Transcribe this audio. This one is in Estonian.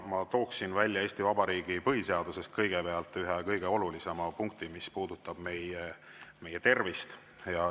Ma tooksin välja Eesti Vabariigi põhiseadusest kõigepealt ühe kõige olulisema punkti, mis puudutab meie tervist.